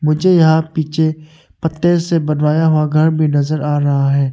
मुझे यहां पीछे पत्ते से बनवाया हुआ घर भी नज़र आ रहा है।